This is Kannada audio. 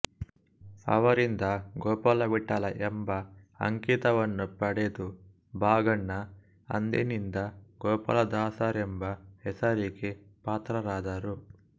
ಅವರಿಂದ ಗೋಪಾಲವಿಠಲ ಎಂಬ ಅಂಕಿತವನ್ನು ಪಡೆದು ಭಾಗಣ್ಣ ಅಂದಿನಿಂದ ಗೋಪಾಲದಾಸರೆಂಬ ಹೆಸರಿಗೆ ಪಾತ್ರರಾದರು